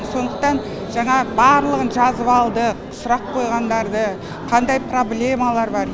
сондықтан жаңа барлығын жазып алдық сұрақ қойғандарды қандай проблемалары бар